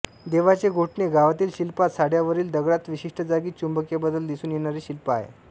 देवाचे गोठणे गावातील शिल्पात सड्यावरील दगडात विशिष्ट जागी चुंबकीय बदल दिसून येणारे शिल्प आहे